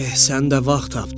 Eh, sən də vaxt tapdın.